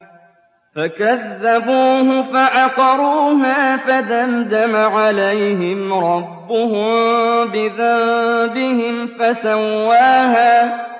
فَكَذَّبُوهُ فَعَقَرُوهَا فَدَمْدَمَ عَلَيْهِمْ رَبُّهُم بِذَنبِهِمْ فَسَوَّاهَا